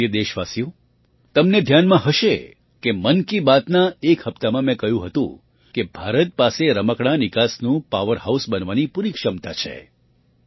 મારા પ્રિય દેશવાસીઓ તમને ધ્યાનમાં હશે કે મન કી બાતના એક હપ્તામાં મેં કહ્યું હતું કે ભારત પાસે રમકડાં નિકાસનું પાવરહાઉસ બનવાની પૂરી ક્ષમતા છે